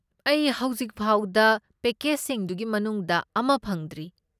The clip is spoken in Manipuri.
ꯑꯩ ꯍꯧꯖꯤꯛꯐꯥꯎꯗ ꯄꯦꯀꯦꯖꯁꯤꯡꯗꯨꯒꯤ ꯃꯅꯨꯡꯗ ꯑꯃ ꯐꯪꯗ꯭ꯔꯤ